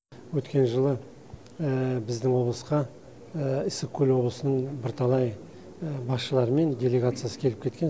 өткен жылы біздің облысқа ыстықкөл облысының бірталай басшылары мен делегациясы келіп кеткен